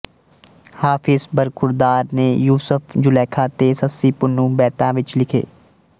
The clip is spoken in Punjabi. ਹਾਫ਼ਿਜ ਬਰਖ਼ੁਰਦਾਰ ਨੇ ਯੂਸ਼ਫ ਜੁਲੈਖਾ ਤੇ ਸੱਸੀ ਪੁੰਨੂੰ ਬੈਤਾਂ ਵਿੱਚ ਲਿਖੇ